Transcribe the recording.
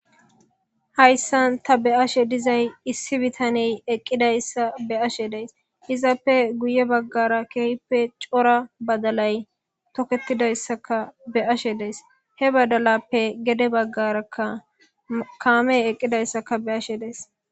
Hayisan ta be'ashe dizay issi bitaney eqizaysa be'ashe de'ays izape guye bagara kehipe coora badalay toketidayisaka be'ashe dayis he badalapeka gede bagara kamey eqidayisaka be'ashe dayis